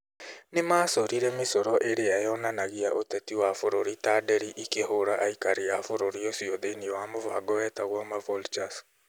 Nĩ macorire mĩcoro ĩrĩa yonanagia ũteti wa bũrũri ta nderi ikĩhũũra aikari a bũrũri ũcio thĩinĩ wa mũbango wetagwo 'maVultures'.